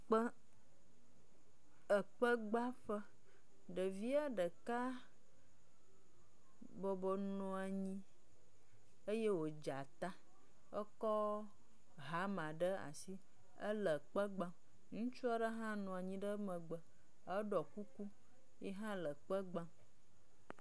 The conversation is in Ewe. Kpe ekpegbãƒe. Ɖevia ɖeka bɔbɔ nɔ anyi eye wodze ata ekɔ hama ɖe asi ele kpe gbam. Ŋutsu aɖe hã nɔ anyi ɖe emegbe eɖɔ kuku yihã le kpe gbam.